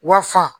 Wa fa